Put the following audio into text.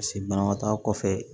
Paseke banabaatɔ kɔfɛ